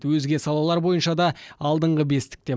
өзге салалар бойынша да алдыңғы бестікте